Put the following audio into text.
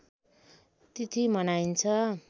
तिथि मनाइन्छ